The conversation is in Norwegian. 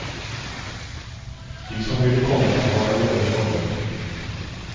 De som ville komme har allerede kommet.